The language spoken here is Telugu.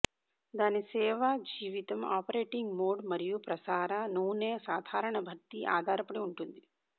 దాని సేవ జీవితం ఆపరేటింగ్ మోడ్ మరియు ప్రసార నూనె సాధారణ భర్తీ ఆధారపడి ఉంటుంది